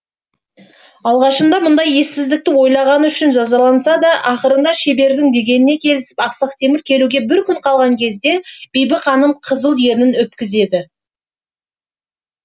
алғашында мұндай ессіздікті ойлағаны үшін жазаласа да ақырында шебердің дегеніне келісіп ақсақ темір келуге бір күн қалған кезде бибі ханым қызыл ернін өпкізеді